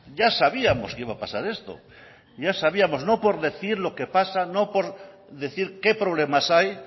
ya sabíamos que iba a pasar esto ya sabíamos no por decir lo que pasa no por decir qué problemas hay